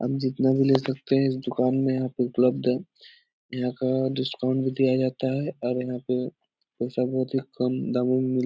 आप जितना भी ले सकते हैं इस दुकान में यहाँ पे उपलब्ध है यहाँ का डिस्काउंट भी दिया जाता है और यहाँ पे बहुत ही कम दामों में मिल --